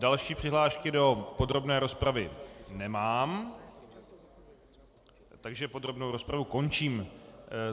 Další přihlášky do podrobné rozpravy nemám, takže podrobnou rozpravu končím.